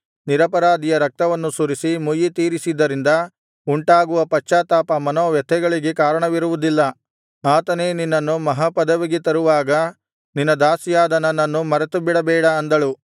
ನಿರಪರಾಧಿಯ ರಕ್ತವನ್ನು ಸುರಿಸಿ ಮುಯ್ಯಿ ತೀರಿಸಿದ್ದರಿಂದ ಉಂಟಾಗುವ ಪಶ್ಚಾತ್ತಾಪ ಮನೋವ್ಯಥೆಗಳಿಗೆ ಕಾರಣವಿರುವುದಿಲ್ಲ ಆತನೇ ನಿನ್ನನ್ನು ಮಹಾ ಪದವಿಗೆ ತರುವಾಗ ನಿನ್ನ ದಾಸಿಯಾದ ನನ್ನನ್ನು ಮರೆತುಬಿಡಬೇಡ ಅಂದಳು